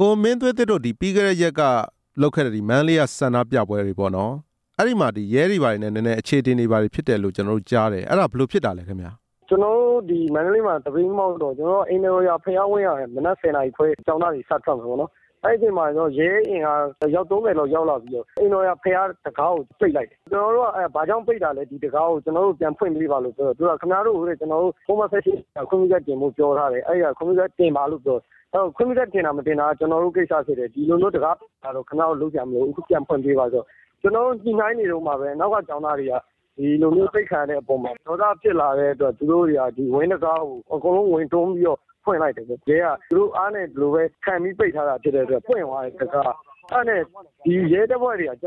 ကိုမင်းသွေးသစ်တို့ ပြီးခဲ့တဲ့ရက်က လုပ်ခဲ့တဲ့ မန္တလေးကဆန္ဒပြပွဲမှာ ရဲတွေဘာတွေနဲ့ အချေအတင်ဖြစ်ခဲ့တယ်လို့ ကျနော်တို့ကြားတယ်၊ အဲ့ဒါဘယ်လိုဖြစ်တာလဲခင်ဗျာ။ ကျနော်တို့ မန္တလေးမှာ သပိတ်မှောက်ဆန္ဒပြတော့ မန္တလေးက အိမ်တော်ရာ ဘုရားဝင်းမှာ မနက် ၁၀ နာရီစထွက်မယ်ပေါ့နော်၊ အဲ့ချိန်မှာ ရဲအင်အားယောက် ၃၀ လောက်ရောက်လာပြီးတော့ အိမ်တော်ရာ ဘုရားတံခါးကို ပိတ်လိုက်တယ်၊ ကျနော်တို့က ဘာကြောင့်ပိတ်တာလဲ၊ ဒီတံခါးကိုပြန်ဖွင့်ပေး ပါပြောတော့၊ ခင်ဗျား တို့ကို ပုဒ်မ ၁၈ အရခွင့်ပြုချက်တင်ပါပြောထားတယ်၊ ခွင့်ပြုချက်တင်တာ၊ မတင်တာ ကျနော်တို့ ကိစ္စဖြစ်တယ်၊ ဒီလိုမျိုးတံခါးပိတ်တာတော့ ခင်ဗျားတို့ လုပ်စရာမလိုဘူး၊ အခုပြန်ဖွင့်ပေးပါဆိုပြီး ညှိနှိုင်းနေတုန်းမှာပဲ အနောက် က ကျောင်းသားတွေက ဒီလိုမျိုးပိတ်ခံရတဲ့ အပေါ်မှာဒေါသဖြစ်လာပြီး ဝင်းတံခါးကို အကုန်လုံးဝင်တွန်းပြီးတော့ ဖွင့်လိုက်တယ်၊ ရဲကသူတို့အား နဲ့ခံပြီးပိတ်ထားတာ ဖြစ်တဲ့အတွက် တံခါးကပွင့်သွားတယ်၊အဲ့ဒါ နဲ့ဒီရဲတပ်ဖွဲ့တွေက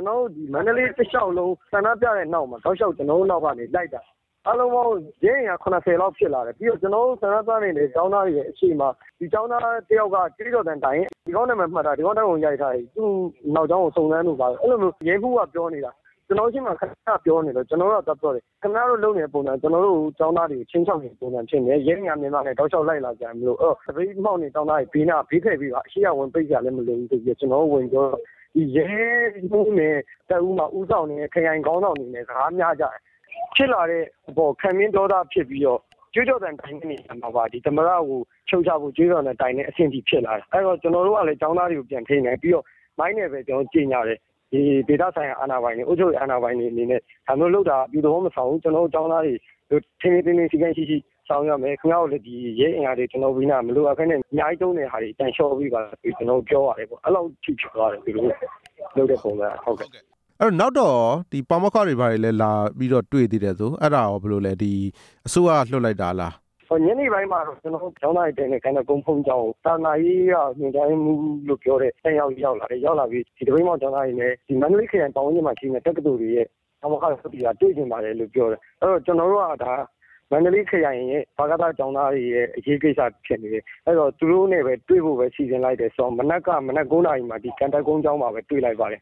မန္တလေး တစ်လျှောက်လုံး ဆန္ဒပြတဲ့နောက်မှာ တောက်လျှောက်ကျနော်တို့ နောက်ကနေ လိုက်လာတာ အားလုံးပေါင်းရဲအင်အား ၇၀ လောက်ဖြစ်လာတယ်၊ ပြီးတော့ ကျနော်တို့ ဆန္ဒပြနေတဲ့ကျောင်းသားတွေရဲ့ အချိန်မှာ ဒီကျောင်းသားတစ်ယောက်က ကြွေးကြော်သံတိုင်ရင် ဒီကောင့်နာမည်မှတ်ထား၊ ဒီကောင့် ဓာတ်ပုံသေချာရိုက်ထား၊ သူ့နောက်ကြောင်းကို စုံစမ်းတို့ဘာတို့ အဲ့လိုမျိုး ရဲမှူးက ကျနော်တို့ရှေ့မှာခဏ ခဏ ပြောနေတော့ ကျနော်တို့ကသွားပြောတယ်၊ အခုခင်ဗျားတို့ လုပ်နေတဲ့ပုံစံက ကျနော်တို့ကို ခြိမ်းခြောက်နေ သလိုပဲ၊ ရဲအင်အား အများကြီး နဲ့တောက်လျှောက်လိုက်လာစရာ မလိုဘူး၊ အဲ့တော့ သပိတ်မှောက်နေတဲ့ ကျောင်း သားတွေ ဘေးနားကဘေးဖယ်ပေးပါ၊ ရှေ့ကနေဝင်ပိတ်စရာလဲ မလိုဘူးဆိုပြီး ကျနော်တို့ဝင်ပြောတော့ ရဲမှူးနဲ့ ခရိုင်ခေါင်းဆောင်တွေနဲ့ စကားများကြတယ်၊ ဖြစ်လာတဲ့အပေါ် ခံပြင်းဒေါသဖြစ်ပြီးတော့ သမ္မတကို ရှုတ်ချဖို့ကြွေးကြော်သံတိုင်တဲ့ အဆင့်ထိဖြစ်လာတယ်၊ အဲ့တော့ကျနော်တို့ကလဲ ကျောင်းသားတွေကိုပြန်ထိန်းတယ်၊ ပြီးတော့ မိုက် နဲ့ပဲကျနော်တို့ ကြေညာတယ်၊ ဒီဒေသဆိုင်ရာ အာဏာပိုင်တွေ၊ အုပ်ချုပ်ရေး အာဏာပိုင်တွေအနေ နဲ့ဒါမျိုးလုပ်တာ အပြုသဘောမဆောင်ဘူး၊ ကျနော်တို့ကျောင်းသားတွေ ထိန်းထိန်းသိမ်းသိမ်း စည်းကမ်းရှိရှိဆောင် ရွက်မယ်၊ ခင်ဗျားတို့လဲ ရဲအင်အားတွေ မလိုအပ်ပဲနဲ့ ကျနော်တို့ဘေးနားကနေ အများကြီးသုံးနေ တာတွေ ပြန်လျှော့ပေးပါဆိုပြီး ကျနော်တို့ပြောပါတယ်။ နောက်တော့ရော ပါမောက္ခတွေ ဘာတွေလာပြီးတော့ တွေ့တယ်ဆို၊ အဲ့ဒါကရော အစိုးရက လွှတ်လိုက်တာလား ညနေပိုင်းမှာတော့ ကျနော်တို့ကျောင်းသားတွေ ဘုန်းကြီးကျောင်းကို သာသနာရေး က ညွှန်ကြားရေးမှူး လို့ပြောတဲ့ တစ်ယောက်ရောက်လာတယ်၊ ရောက်လာပြီးတော့ ဒီသပိတ်မှောက် ကျောင်း သားတွေနဲ့ ဒီမန္တလေးခရိုင် ပတ်ဝန်းကျင်မှာရှိတဲ့ တက္ကသိုလ်တွေရဲ့ပါမောက္ခ အသီးသီးက တွေ့ချင်ပါတယ် လို့ ပြောတယ်၊ အဲ့တော့ ကျနော်တို့က မန္တလေးခရိုင်ရဲ့ကျောင်းသား တွေရဲ့အရေးကိစ္စဖြစ်နေတယ်၊ အဲ့တော့သူတို့ နဲ့ပဲတွေ့ဖို့ပဲ စီစဉ်လိုက်တယ်၊ အဲ့တော့ မနက် ၉ နာရီမှာပဲ ဒီကံတက် ဘုန်ကြီးကျောင်းမှာပဲတွေ့လိုက်ပါတယ်၊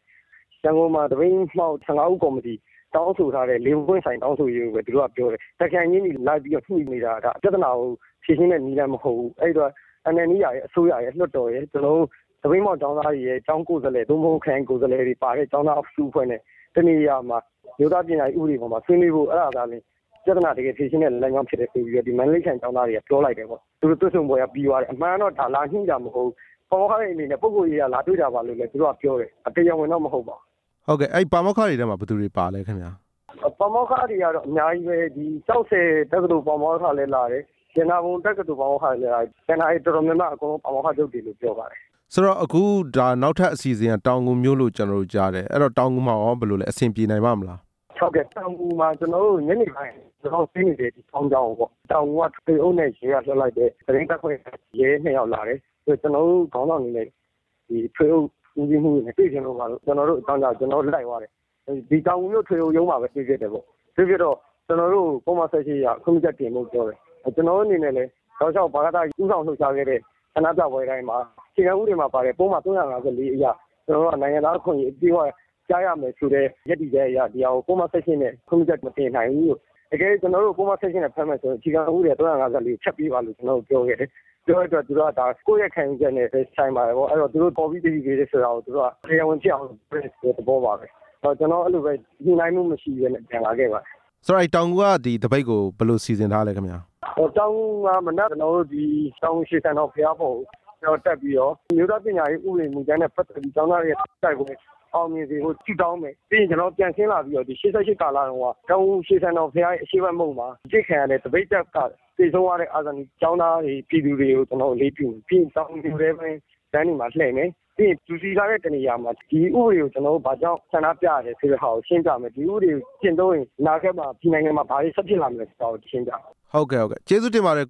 ရန်ကုန်မှာ သပိတ်မှောက် ၁၅ ဦးကော်မတီ တောင်းဆိုထားတဲ့ ၄ ပွင့်ဆိုင်တောင်းဆိုရေးကိုပဲ သူတို့ကပြောတယ်၊ တစ်ခရိုင်ချင်းစီ လိုက်ပြီးတော့ ညှိနေတာပြဿနာ ကိုဖြေရှင်းတဲ့နည်းလမ်း မဟုတ်ဘူး၊ အဲ့တော့ NLD ရယ်၊ အစိုးရရယ်၊ လွှတ်တော်ရယ်၊ ကျနော်တို့ သပိတ်မှောက် ကျောင်းသားတွေရဲ့ကျောင်းကိုယ်စားလှယ် သို့မဟုတ် ခရိုင်ကိုယ်စားလှယ်တွေပါတဲ့ ကျောင်းသားအစုအဖွဲ့ နဲ့တစ်နေရာမှာ အမျိုးသားပညာရေး ဥပဒေဆွေးနွေးဖို့၊ အဲ့ဒါသာလျှင် ပြဿနာတစ်ကယ်ဖြေရှင်းတဲ့ နည်းလမ်းဖြစ်တယ်ဆိုပြီးတော့ ဒီမန္တလေးခရိုင် ကျောင်းသားတွေ ကပြောလိုက်တယ်၊ ဆွေးနွေးပွဲကပြီးသွားတယ်ပေါ့၊ အမှန်တော့ ဒါလာညှိတာမဟုတ်ဘူး၊ ပါမောက္ခတွေ အနေ နဲ့ဒါပုဂ္ဂုလ်ရေးအရ လာတွေ့တာပါဆိုပြီးတော့ လဲပြောပါတယ်၊ တရားဝင်တော့ မဟုတ်ပါဘူး။ ဟုတ်ကဲ့၊ အဲ့ပါမောက္ခတွေ ထဲမှာ ဘယ်သူတွေပါ ပါလဲခင်ဗျာ။ ပါမောက္ခတွေ ကတော့အများကြီးပဲ၊ ကျောက်ဆည်တက္ကသိုလ် ပါမောက္ခလဲ လာတယ်၊ ရတနာပုံ တက္ကသိုလ်ပါမောက္ခ လဲလာတယ်၊ ကျန်တာတွေ တော်တော်များများ ပါမောက္ခတွေ လို့ပြောပါတယ်။ ဆိုတော့ နောက်ထပ်အစီအစဉ်က တောင်ငူမှာလို့ ကျနော်တို့ ကြားတယ်၊ တောင်ငူမှာရော အစဉ်ပြေနိုင်မလား။ ဟုတ်ကဲ့ တောင်ငူမှာ ကျနော်တို့ ညနေပိုင်း ကျနော်တို့ တည်းနေတဲ့ ဘုန်းကြီးကျောင်း ကိုပေါ့ တောင်ငူက ထွေအုပ် နဲ့ရဲကလွှတ်လိုက်တဲ့ သတင်းတပ်ဖွဲ့က ရဲ ၂ ယောက်လာတယ်၊ ကျနော် တို့ ခေါင်းဆောင်တွေ နဲ့ထွေအုပ်ဦးစီးမှူးတွေ နဲ့တွေ့ချင်လို့ပါဆိုတော့ ကျနော်တို့ လိုက်သွားတယ်၊ ဒီတောင်ငူ မြို့ ထွေအုပ်ရုံးမှာပဲ ကျနော်တို့တွေ့ကြတယ်၊ တွေ့ဖြစ်တော့ ကျနော်တို့ကို ပုဒ်မ ၁၈ အရ ခွင့်ပြုချက်တင်ပါ လို့ ပြောတယ်၊ ကျနော်တို့ အနေနဲ့လည်း ဦးဆောင်လှုပ်ရှားခဲ့တဲ့ ဆန္ဒပြပွဲတိုင်းမှာ ဒီအခြေခံ ဥပဒေမှာပါတဲ့ ပုဒ်မ ၃၅၄ အရ ကျနော်တို့က နိုင်ငံသားအခွင့်အရေး အပြည့်အဝရ ရမယ်ဆိုတဲ့ ရပ်တည်ချက်အရ ဒီဟာကို ပုဒ်မ ၁၈ နဲ့ခွင့်ပြုချက်မတင်နိုင်ဘူးလို့၊ ကျနော်တို့ကို ပုဒ်မ ၁၈ နဲ့ဖမ်းမယ်ဆိုရင်လဲ ဥပဒေမှာပါတဲ့ ပုဒ်မ ၃၅၄ ကိုဖျက်ပေးပါ လို့ ပြောခဲ့တယ်၊ ဒါကိုယ့်ရဲ့ ခံယူချက်နဲ့ပဲဆိုင်ပါတယ်ဆိုပြီးပြောပါတယ်၊ သူတို့ခေါ်ပြီးသတိပေးတာကို တရား ဝင်ဖြစ်အောင် လုပ်တယ်ဆိုတဲ့ သဘောပါပဲ၊ နောက်အလိုပဲ ညှိနှိုင်းမှုမရှိပဲ ပြန်လာခဲ့ပါတယ်၊ ဆိုတော့ တောင်ငူကသပိတ်ကို ဘယ်လိုစီစဉ်ထားလဲ ခင်ဗျာ။ တောင်ငူ ရွှေဆံတော်ဘုရားပေါ်ကိုတက်ပြီးတော့ အမျိုးသားပညာရေး ဥပဒေနဲ့ ပတ်သက် ပြီးတော့ ကျောင်းသားတွေရဲ့ ဆန္ဒပြပွဲ အောင်မြင်စေရန် ဆုတောင်းမယ်၊ ပြီးတော့ပြန်ဆင်းလာပြီးတော့ ၈၈ ကာလတုန်းက ဒီတောင်ငူရွှေဆံတော်ရဲ့ အရှေ့ဖက်မုဒ်မှာ အပစ်ခံရတဲ့ သပိတ်ဖက်ကသေဆုံးသွားတဲ့ ကျောင်း သား၊ ပြည်သူတွေကို ကျနော်တို့ အလေးပြုမယ်၊ ပြီးရင်တောင်ငူလမ်းတွေ မှာလှည့်မယ်၊ ပြီးရင်လူစည်ကား တဲ့နေရာမှာ ဒီဥပဒေကို ဘာကြောင့်ဆန္ဒပြရလဲဆိုတဲ့ ဟာကိုရှင်းပြမယ်၊ ဒီဥပဒေကျင့်သုံးရင် အနာဂတ်မှာ ဒီနိုင်ငံမှာ ဘာတွေဆက်ဖြစ်လာမလဲဆိုတာကိုရှင်းပြမှာပါ။ ဟုတ်ကဲ့ ကျေးဇူးတင်ပါတယ်